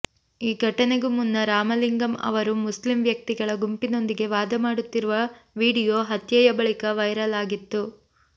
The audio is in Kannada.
ಈ ಘಟನೆಗೂ ಮುನ್ನ ರಾಮಲಿಂಗಂ ಅವರು ಮುಸ್ಲಿಂ ವ್ಯಕ್ತಿಗಳ ಗುಂಪಿನೊಂದಿಗೆ ವಾದ ಮಾಡುತ್ತಿರುವ ವಿಡಿಯೋ ಹತ್ಯೆಯ ಬಳಿಕ ವೈರಲ್ ಆಗಿತ್ತು